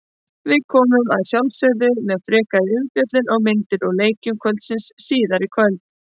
Við komum að sjálfsögðu með frekari umfjöllun og myndir úr leikjum kvöldsins síðar í kvöld.